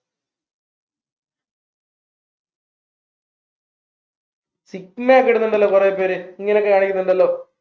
ഇടുന്നുണ്ടല്ലോ കുറെ പേര് ഇങ്ങനെക്കെ കാണിക്കുന്നുണ്ടല്ലോ